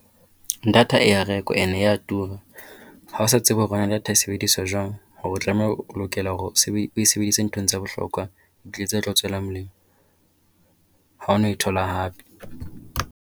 Data e a rekwa and e a tura. Ha o sa tsebe hore na data e sebediswa jwang. Hore o tlameha, o lokela hore o e sebedise ho ntho tse bohlokwa tse tla o tswela molemo. Ha o na e thola hape.